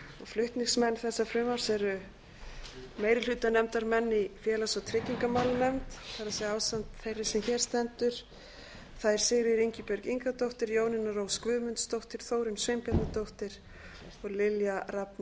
flutningsmenn þessa frumvarps eru meirihlutanefndarmenn í félags og tryggingamálanefnd það er ásamt þeirri sem hér stendur þær sigríður ingibjörg ingadóttir jónína rós guðmundsdóttir þórunn sveinbjarnardóttir og lilja rafney